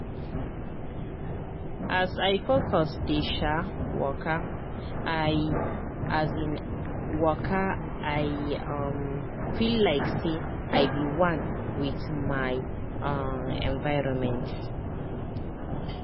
as i focus dey um wakai um wakai um feel like say i be one with my um environment.